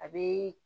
A bɛ